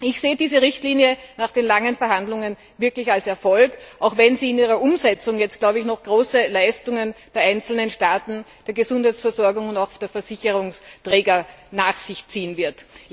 Ich sehe diese Richtlinie nach den langen Verhandlungen wirklich als Erfolg, auch wenn sie in ihrer Umsetzung jetzt noch große Leistungen der einzelnen Staaten der Gesundheitsversorgung und auch der Versicherungsträger nach sich ziehen wird.